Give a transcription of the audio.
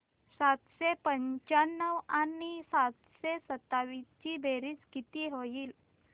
सातशे पंचावन्न आणि सातशे सत्तावीस ची बेरीज किती होईल